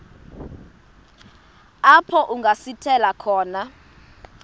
apho kungasithela khona